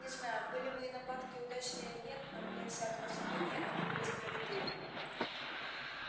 не знаю были мои нападки удачны или нет но вне всякого сомнения они были справедливы